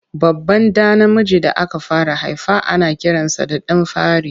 Babban ɗa namiji da aka fara haifa ana kiransa da ɗan fari.